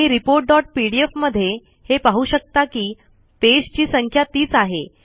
तुम्ही reportपीडीएफ मध्ये हे पाहू शकता कि पेज ची संख्या तीच आहे